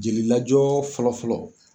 Jeli lajɔ fɔlɔ fɔlɔ.